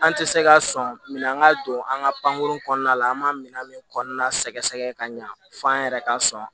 An tɛ se ka sɔn minɛn ka don an ka pankurun kɔnɔna la an b'a minɛn min kɔnɔna sɛgɛsɛgɛ ka ɲa f'an yɛrɛ ka sɔn